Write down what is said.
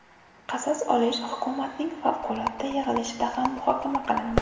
Qasos olish hukumatning favqulodda yig‘ilishida ham muhokama qilindi.